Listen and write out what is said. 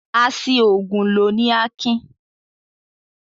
A ṣi òògùn lò ni Akin.